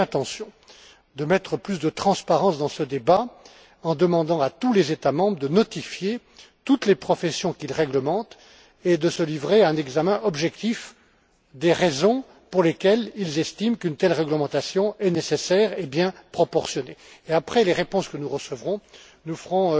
J'ai l'intention de mettre plus de transparence dans ce débat en demandant à tous les États membres de notifier toutes les professions qu'ils réglementent et de se livrer à un examen objectif des raisons pour lesquelles ils estiment qu'une telle réglementation est nécessaire et bien proportionnée. Et après les réponses que nous recevrons, nous ferons